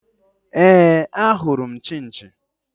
Éè, ahụrụ m Chinchi